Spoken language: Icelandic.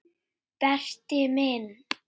Berti minn.